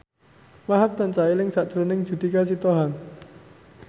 Wahhab tansah eling sakjroning Judika Sitohang